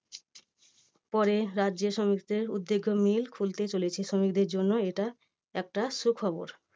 পরে রাজ্যে শ্রমিকদের উদ্যোগে mill খুলতে চলেছে শ্রমিকদের জন্য এটা একটা সুখবর।